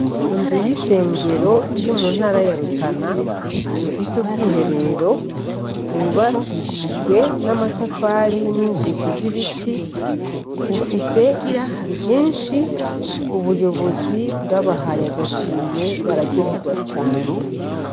Inzu y'isengero iri mu ntara ya rutana ifise ubwiherero bwubakishijwe n'amatafari n'inzugi z'ibiti bifise isuku ryinshi ubuyobozi bwabahaye agashimwe bararyoherwa cane.